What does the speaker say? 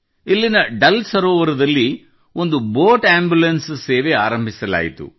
ಇಲ್ಲಿನ ದಾಲ್ ಸರೋವರದಲ್ಲಿ ಒಂದು ಬೋಟ್ ಆಂಬುಲೆನ್ಸ್ ಸೇವೆ ಆರಂಭಿಸಲಾಯಿತು